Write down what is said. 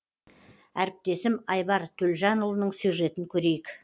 әріптесім айбар төлжанұлының сюжетін көрейік